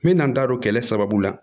N bɛ na n da don kɛlɛ sababu la